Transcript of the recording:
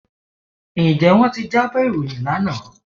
Ǹjẹ́ wọ́n ti jábọ̀ ìròyìn lánàá?